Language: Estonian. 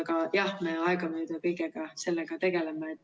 Aga jah, me aegamööda kõige sellega tegeleme.